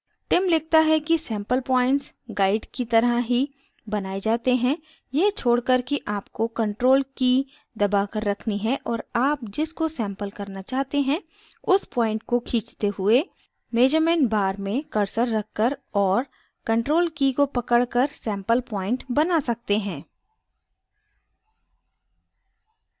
tim लिखता है कि sample points guide की तरह ही बनाये जाते हैं यह छोड़कर कि आपको ctrl की दबाकर रखनी है और आप जिस को sample करना चाहते हैं उस point को खींचते हुए measurement bar में cursor रखकर और ctrl की को पकड़कर sample point बना सकते हैं